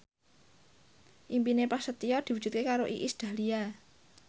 impine Prasetyo diwujudke karo Iis Dahlia